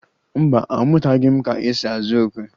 Mba, amụtaghị m ka esi azụ okwe